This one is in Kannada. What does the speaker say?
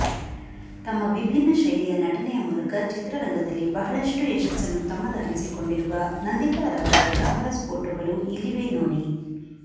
ತಮ್ಮ ವಿಭಿನ್ನ ಶೈಲಿಯ ನಟನೆಯ ಮೂಲಕ ಚಿತ್ರರಂಗದಲ್ಲಿ ಬಹಳಷ್ಟು ಯಶಸ್ಸನ್ನು ತಮ್ಮದಾಗಿಸಿಕೊಂಡಿರುವ ನಂದಿತಾರವರ ಗ್ಲಾಮರಸ್ ಫೋಟೊಗಳು ಇಲ್ಲಿವೆ ನೋಡಿ